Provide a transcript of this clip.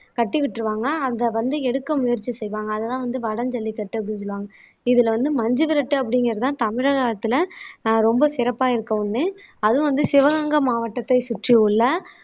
கட்டி விட்டுருவாங்க அதை வந்து எடுக்க முயற்சி செய்வாங்க அதுதான் வந்து வடம் ஜல்லிக்கட்டு அப்படின்னு சொல்லுவாங்க இதுல வந்து மஞ்சுவிரட்டு அப்படிங்கறதுதான் தமிழகத்துல ஆஹ் ரொம்ப சிறப்பா இருக்க ஒண்ணு அதுவும் வந்து சிவகங்கை மாவட்டத்தை சுற்றியுள்ள